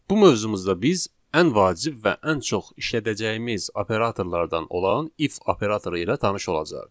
Bu mövzumuzda biz ən vacib və ən çox işlədəcəyimiz operatorlardan olan if operatoru ilə tanış olacağıq.